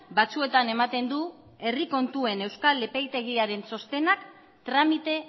batzuetan ematen du herri kontuen euskal epaitegiaren txostenak tramite